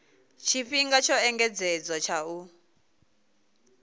tshifhinga tsho engedzedzwaho tsha u